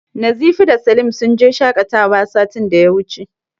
Nazifi da Salim sun je shaƙatawa satin da ya wuce.